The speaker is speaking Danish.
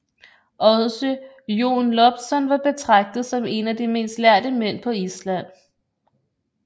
Også Jón Loptsson var betragtet som en af de mest lærde mænd på Island